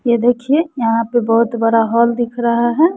यह देखिए यहां पर बहोत बड़ा हॉल दिख रहा है।